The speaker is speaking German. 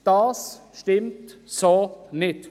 Aber das stimmt so nicht.